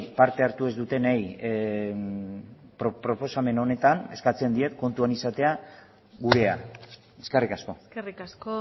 parte hartu ez dutenei proposamen honetan eskatzen diet kontuan izatea gurea eskerrik asko eskerrik asko